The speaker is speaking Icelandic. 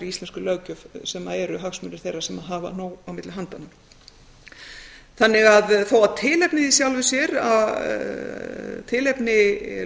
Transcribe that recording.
íslenskri löggjöf sem eru hagsmunir þeirra sem hafa nóg á milli handanna þó að tilefni